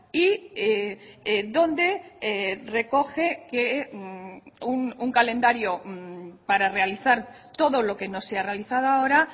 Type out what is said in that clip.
y donde recoge que un calendario para realizar todo lo que no se ha realizado ahora